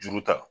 Juru ta